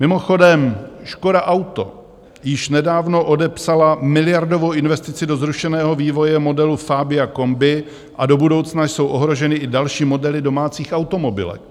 Mimochodem, Škoda Auto již nedávno odepsala miliardovou investici do zrušeného vývoje modelů Fabia Combi a do budoucna jsou ohroženy i další modely domácích automobilek.